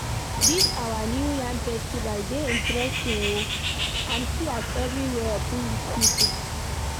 Dis our new yam festival dey interesting oo and see as everywhere full with people